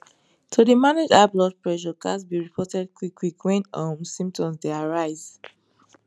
to dey manage high blood pressure ghats be reported quick quick wwn um symptoms dey arise